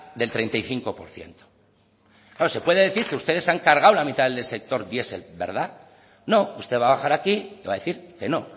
del treinta y cinco por ciento claro se puede decir que ustedes se han cargado la mitad del sector diesel verdad no usted va a bajar aquí y va a decir que no